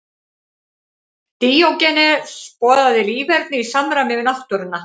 Díógenes boðaði líferni í samræmi við náttúruna.